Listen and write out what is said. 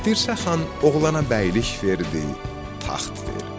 Dirsə xan oğlana bəylik verdi, taxt verdi.